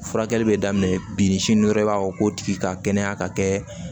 Furakɛli bɛ daminɛ bi sini dɔrɔn i b'a fɔ k'o tigi ka kɛnɛya ka kɛ